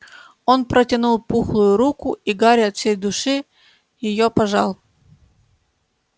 он протянул пухлую руку и гарри от всей души её пожал